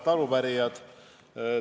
Auväärt arupärijad!